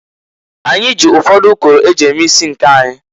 Anyị jị ụfọdụ ụkọrọ e ji eme isi nke anyị.